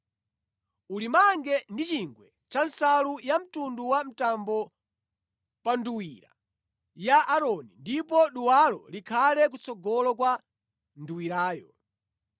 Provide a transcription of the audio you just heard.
Ulimange ndi chingwe cha nsalu yamtundu wa mtambo pa nduwira ya Aaroni, ndipo duwalo likhale kutsogolo kwa nduwirayo.